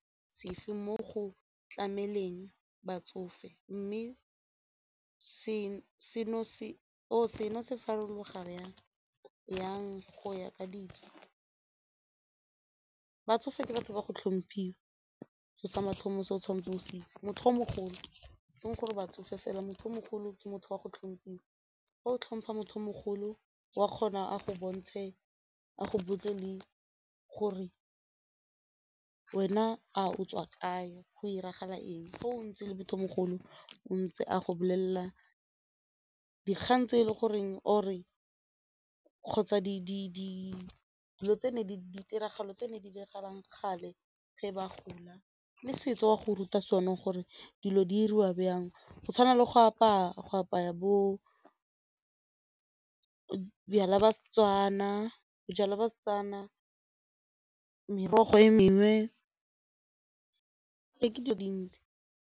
Tshege mo go tlameleng batsofe mme seno se farologana jang go ya ka dijo batsofe ke batho ba go tlhomphiwa seo sa mathomo se o tshwanetse o se itse, motho o mogolo e seng gore batsofe fela, motho o mogolo ke motho wa go tlhomphiwa, ga o tlhompha motho o mogolo o a kgona a go bontshe a go botse le gore wena a o tswa kae go diragala eng fa o ntse le motho o mogolo ntse a go bolelela dikgang tse e le goreng kgotsa dilo tse ne di diragalang kgale ge ba gola le setso o a go ruta sone gore dilo di 'iriwa jang go tshwana le go apaya, go apaya bo bojalwa ba Setswana, bojalwa ba Setswana, merogo e mengwe e dile dintsi.